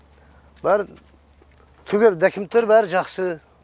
бәрі түгел документтер бәрі жақсы